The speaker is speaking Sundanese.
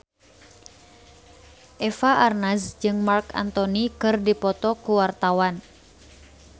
Eva Arnaz jeung Marc Anthony keur dipoto ku wartawan